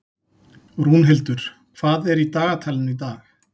Rúnhildur, hvað er í dagatalinu í dag?